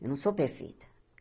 Eu não sou perfeita.